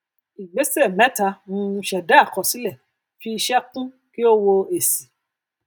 ìgbésẹ mẹta um ṣẹdá àkọsílẹ fi iṣẹ kún kí o wo èsì